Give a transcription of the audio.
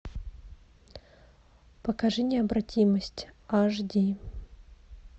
покажи необратимость аш ди